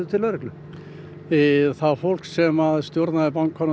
til lögreglu það fólk sem stjórnaði bankanum